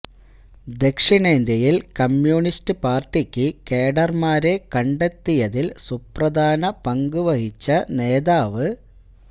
ദക്ഷിണേന്ത്യയില് communist പാര്ട്ടിയ്ക്ക് കേഡര്മാരെ കണ്ടെത്തിയതില് സുപ്രധാന പങ്ക് വഹിച്ച നേതാവ്